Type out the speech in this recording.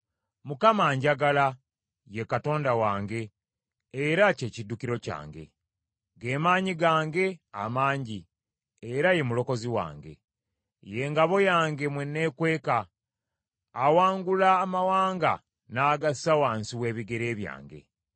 Mukama anjagala ye Katonda wange era kye kiddukiro kyange, ge maanyi gange amangi era ye mulokozi wange. Ye ngabo yange mwe neekweka. Awangula amawanga n’agassa wansi w’ebigere byange.